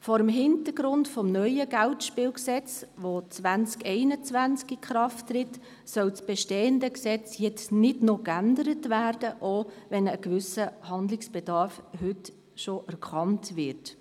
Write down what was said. Vor dem Hintergrund des neuen Bundesgesetzes über Geldspiele (Geldspielgesetz, BSG), das 2021 in Kraft tritt, soll das bestehende Gesetz jetzt nicht geändert werden, auch wenn heute bereits ein gewisser Handlungsbedarf erkannt wird.